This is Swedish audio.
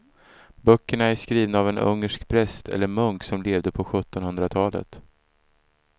Böckerna är skrivna av en ungersk präst eller munk som levde på sjuttonhundratalet.